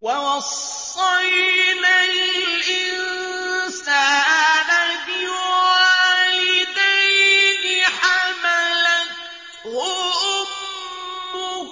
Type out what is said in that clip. وَوَصَّيْنَا الْإِنسَانَ بِوَالِدَيْهِ حَمَلَتْهُ أُمُّهُ